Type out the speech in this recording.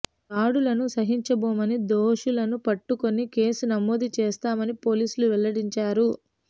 దాడులను సహించబోమని దోషులను పట్టుకొని కేసు నమోదు చేస్తామని పోలీసులు వెల్లడించారు